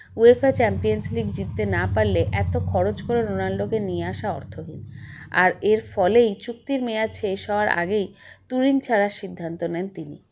UEFA Champions League জিততে না পারলে এত খরচ করে রোনাল্ডোকে নিয়ে আসা অর্থহীন আর এরফলেই চুক্তির মেয়াদ শেষ হওয়ার আগেই তুরিন ছাড়ার সিদ্ধান্ত নেন তিনি